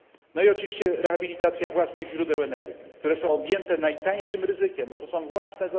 No i oczywiście rehabilitacja własnych źródeł energii, które są objęte najniższym ryzykiem, jako zasoby własne.